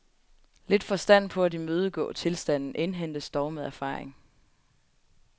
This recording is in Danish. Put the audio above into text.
Lidt forstand på at imødegå tilstanden indhentes dog med erfaring.